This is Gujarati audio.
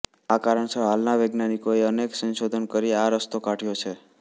આ કારણસર હાલના વૈજ્ઞાનિકોએ અનેક સંશોધન કરી આ રસ્તો કાઢ્યો છે